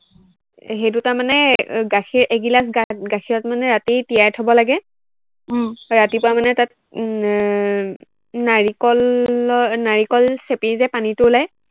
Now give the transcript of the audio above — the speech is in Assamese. সেইটো তাৰমানে এৰ গাখীৰ, এগিলাচ গাখীৰত মানে ৰাতি তিয়াই থব লাগে, উম ৰাতিপুৱা মানে তাত উম এৰ নাৰিকলৰ নাৰিকল চেপি যে পানীটো উলাই